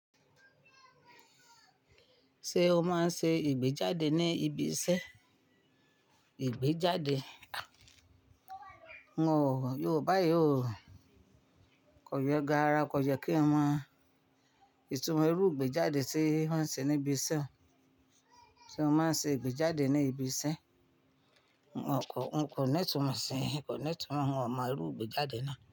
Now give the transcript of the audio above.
Ṣé o máa ń ṣe ìgbéjáde ní ibi iṣẹ́? Ìgbéjáde, n ò, Yorùbá yóò kọ yọ ga ara, kọ yẹ kí wọ́n máa, ìtumọ̀ irú ìgbéjáde tí wọ́n ń ṣe ní ibi iṣẹ́. Ṣé o máa ń ṣe ìgbéjáde ní ibi iṣẹ́? N kò, n kò ní ìtumọ̀ ṣe, n kò ní ìtumọ̀, n ò mọ irú ìgbéjáde náà.